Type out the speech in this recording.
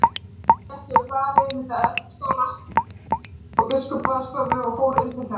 Helga gekk yfir hlaðið milli eldaskála og biskupsbaðstofu og fór inn til þeirra.